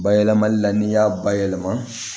Bayɛlɛmali la n'i y'a bayɛlɛma